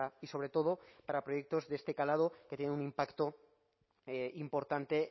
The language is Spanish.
y sobre todo para proyectos de este calado que tienen un impacto importante